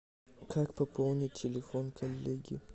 как пополнить телефон коллеги